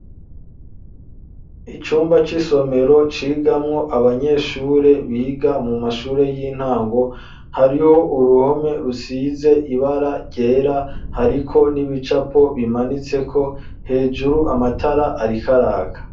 Icumba c'isomero cigamwo abanyeshure biga mu mashure y'intango hariho uruhome rusize ibara ryera hariko n'ibicapo bimanitse ko hejuru amatara arikaraka.